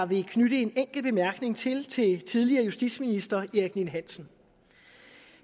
vil knytte en enkelt bemærkning til tidligere justitsminister erik ninn hansen